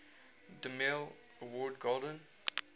demille award golden